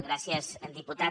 gràcies diputat